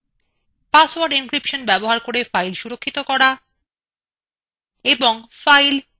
এছাড়াও আপনি password encryption ব্যবহার করে একটি draw file protect করতে শিখবেন